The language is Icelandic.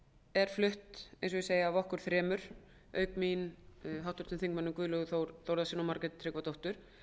er flutt eins og ég segi af okkur þremur auk mín háttvirtum þingmanni guðlaugi þór þórðarsyni og margréti tryggvadóttur